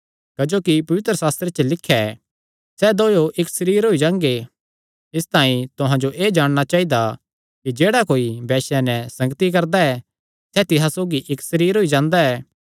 क्जोकि पवित्रशास्त्रे च लिख्या ऐ सैह़ दोयो इक्क सरीर होई जांगे इसतांई तुहां जो एह़ जाणना चाइदा कि जेह्ड़ा कोई वैश्या नैं संगति करदा ऐ सैह़ तिसा सौगी इक्क सरीर होई जांदा ऐ